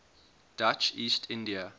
dutch east india